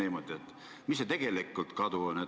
Kui suur see tegelik kadu on?